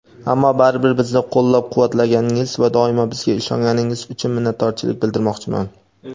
ammo baribir bizni qo‘llab-quvvatlaganingiz va doim bizga ishonganingiz uchun minnatdorchilik bildirmoqchiman.